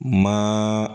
Ma